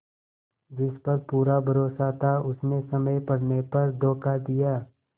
जिस पर पूरा भरोसा था उसने समय पड़ने पर धोखा दिया